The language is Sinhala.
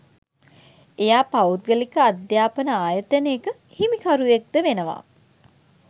එයා පෞද්ගලික අධ්‍යාපන ආයතනයක හිමිකරුවෙක්ද වෙනවා.